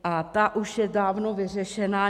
A ta už je dávno vyřešena.